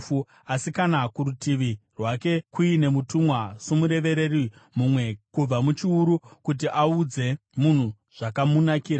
“Asi kana kurutivi rwake kuine mutumwa somurevereri, mumwe kubva muchiuru, kuti audze munhu zvakamunakira,